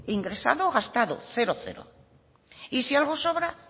ingresado gastado cero y si algo sobra